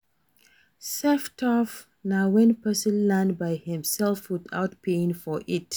Self taught na wen person learn by himself without paying for it